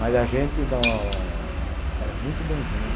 Mas a gente era muito bem-vindo.